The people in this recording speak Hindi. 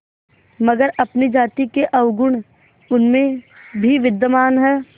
मगर अपनी जाति के अवगुण उनमें भी विद्यमान हैं